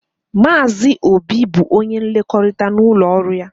Maazị Obi bụ onye nlekọta n'ụlọọrụ ya.